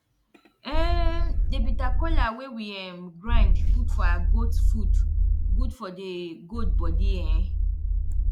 um the bitter cola wey we um grind put for our goat food good for the goat body um